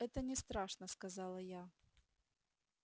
это не страшно сказала я